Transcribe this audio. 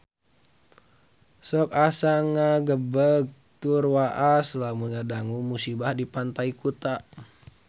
Sok asa ngagebeg tur waas lamun ngadangu musibah di Pantai Kuta